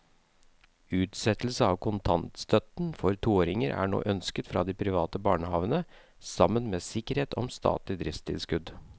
Utsettelse av kontantstøtten for toåringene er nå ønsket fra de private barnehavene sammen med sikkerhet om statlig driftstilskudd.